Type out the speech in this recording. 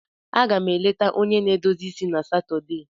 Aga m eleta onye na-edozi isi na Satọde